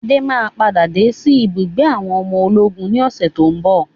Adé máa padà wá sí ibùgbé àwọn ọmọ ológun ni ọ̀sẹ̀ tòun bọ̀.